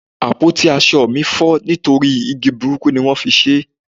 àpótí asọ mi fọ nitori igi burúkú ti won fi ṣe